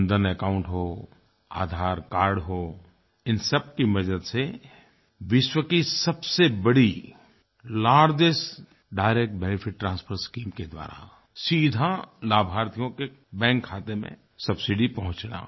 Jan Dhan account हो Aadhaar card हो इन सब की मदद से विश्व की सबसे बड़ी largest direct benefit transfer scheme के द्वारा सीधा लाभार्थियों के बैंक खाते में सब्सिडी पहुँचना